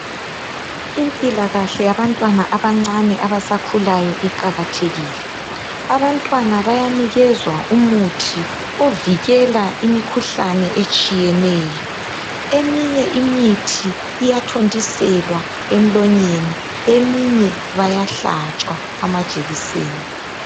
Impilakahle yabantwana abancane abasakhulayo iqakathekile. Abantwana bayanikezwa umuthi ovikela imikhuhlane etshiyeneyo. Eminye imithi iyathontiselwa emlonyeni, eminye bayahlatshwa amajekiseni.